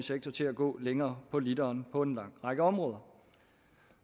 sektor til at gå længere på literen på en lang række områder